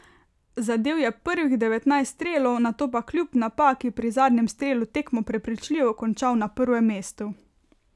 Zadel je prvih devetnajst strelov, nato pa kljub napaki pri zadnjem strelu tekmo prepričljivo končal na prvem mestu.